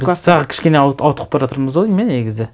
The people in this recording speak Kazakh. біз тағы кішкене ауытқып бара жатырмыз ау деймін иә негізі